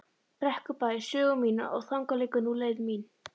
Brekkubæ sögu mína og þangað liggur nú leið mín.